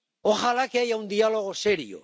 ¡Ojalá que haya un diálogo serio!